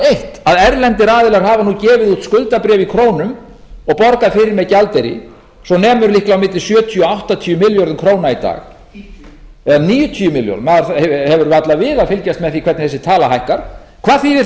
eitt að erlendir aðilar hafa nú gefið út skuldabréf í krónum og borgað fyrir með gjaldeyri svo nemur líklega á milli sjötíu til áttatíu milljónir króna í dag eða níutíu milljónir maður hefur varla við að fylgjast með því hvernig þessi tala hækkar hvað þýðir